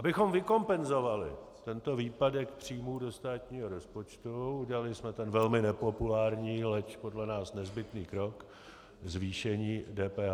Abychom vykompenzovali tento výpadek příjmů do státního rozpočtu, udělali jsme ten velmi nepopulární, leč podle nás nezbytný krok, zvýšení DPH.